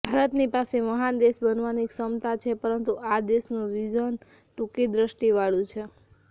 ભારતની પાસે મહાન દેશ બનવાની ક્ષમતા છે પરંતુ આ દેશનું વિઝન ટૂંકીદ્રષ્ટિવાળું છે